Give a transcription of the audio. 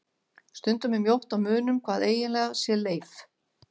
Stundum er mjótt á munum hvað eiginlega sé leif.